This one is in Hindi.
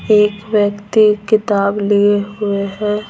एक व्यक्ति किताब लिए हुए हैं।